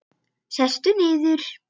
Sestu niður.